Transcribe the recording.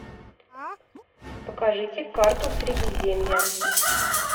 покажите карту средиземья